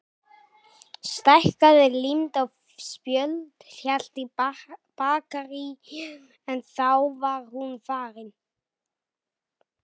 Stækkaði, límdi á spjöld, hélt í bakaríið en þá var hún farin.